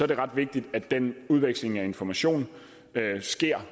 det ret vigtigt at den udveksling af information sker